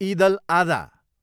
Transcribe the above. इद अल आदा